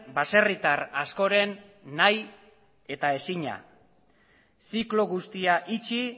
baserritar askoren nahi eta ezina ziklo guztia itxi